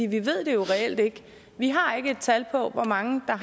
vi ved det reelt ikke vi har ikke et tal for hvor mange der